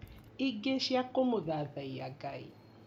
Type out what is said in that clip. Ingĩ cia kũmũthathaiya Ngai